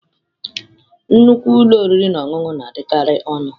Nnukwu ụlọ oriri na ọṅụṅụ na-adịkarị ọnụ.